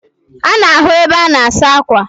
Ana ahu ebe ana asa akwa